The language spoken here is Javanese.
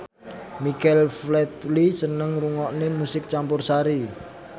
Michael Flatley seneng ngrungokne musik campursari